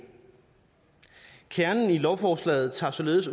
kernen i lovforslaget tager således